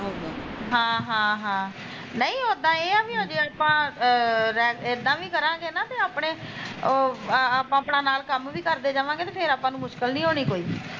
ਹਾਂ ਹਾਂ ਹਾਂ, ਨਹੀਂ ਓਦਾ ਏਹ ਆ ਵੀ ਆਜੇ ਆਪਾਂ ਐ ਇੱਦਾਂ ਵੀ ਕਰਾਂਗੇ ਨਾ ਤਾਂ ਅਪਣੇ ਉਹ ਆਪਣਾ ਨਾਲ ਕੰਮ ਵੀ ਕਰਦੇ ਜਾਵਾਂਗੇ ਤੇ ਫੇਰ ਮੁਸਕਿਲ ਨੀ ਹੋਣੀ ਕੋਈ